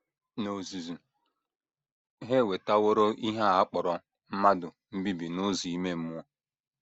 N’ozuzu, ha ewetaworo ihe a kpọrọ mmadụ mbibi n’ụzọ ime mmụọ..